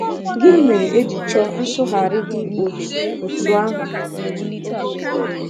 Gịnị mere e ji chọọ nsụgharị dị otú otú ahụ?